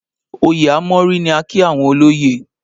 Òye a mọ́rí ni a kí àwọn olóyè